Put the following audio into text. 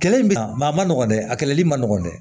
Kɛlɛ in bɛ yan a ma nɔgɔ dɛ a kɛlɛli ma nɔgɔn dɛ